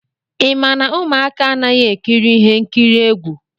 Ị ma na ụmụaka anaghị ekiri ihe nkiri egwu?